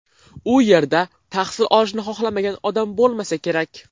U yerda tahsil olishni xohlamagan odam bo‘lmasa kerak.